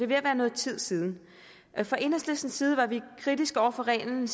ved at være noget tid siden fra enhedslistens side var vi kritiske over for reglen